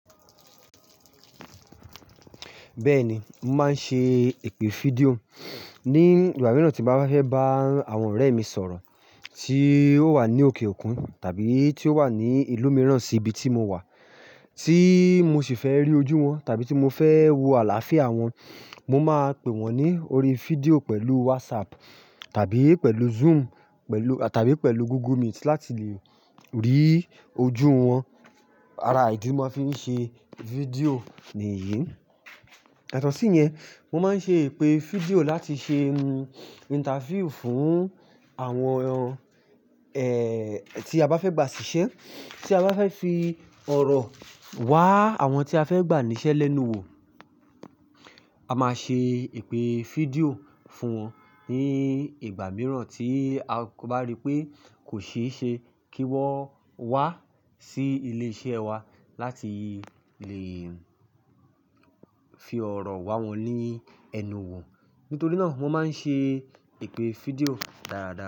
Bẹ́ẹ̀ni, mo máa ń ṣe èpè fídíò ní ìgbà mìíràn tí màá bá fẹ́ bá àwọn ọ̀rẹ́ mi sọ̀rọ̀ tí ó wà ní òkè òkun tàbí tí ó wà ní ìlú mìíràn sí ibi tí mo wà tí mo sì fẹ́ rí ojú wọn tàbí tí mo fẹ́ wo àlàáfíà wọn. Mo máa pè wọ́n ní orí fídíò pẹ̀lú WhatsApp tàbí pẹ̀lú Zoom pẹ̀lú tàbí pẹ̀lú Google Meet láti lè rí ojú wọn. Ara ìdí mo máa fi ń ṣe fídíò nìyí. Àtọ̀sí yẹn, mo máa ń ṣe èpè fídíò láti ṣe interview fún àwọn ẹ́ tí a bá fẹ́ gba ṣiṣẹ́, tí a bá fẹ́ fi ọ̀rọ̀ wáa àwọn tí a fẹ́ gbà níṣẹ́ lẹ́nu wò. A máa ṣe èpè fídíò fún wọn ní ìgbà mìíràn tí a bá rípé kò ṣeéṣe kí wọ́n wá sí ilé iṣẹ́ wa láti lè fi ọ̀rọ̀ wá wọn nii énu wò. Nítorí náà mo máa ń ṣe èpè fídíò dáadáa.